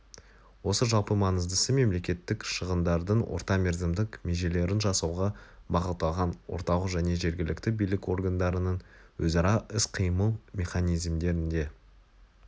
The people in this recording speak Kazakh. осы жалпы маңыздысы мемлекеттік шығындардың орта мерзімдік межелерін жасауға бағытталған орталық және жергілікті билік органдарының өзара іс-қимыл механизмдерінде